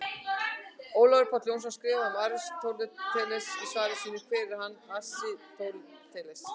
Ólafur Páll Jónsson skrifar um Aristóteles í svari sínu Hver var Aristóteles?